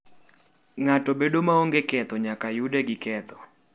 Ng'ato bedo maonge ketho nyaka nyude gi ketho.